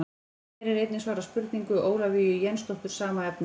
Hér er einnig svarað spurningu Ólafíu Jensdóttur sama efnis.